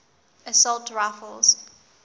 assault rifles